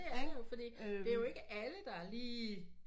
Fordi det er jo ikke alle der lige